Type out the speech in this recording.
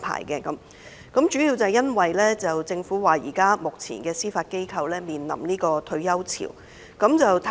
這主要是因為政府指目前司法機構正面臨"退休潮"。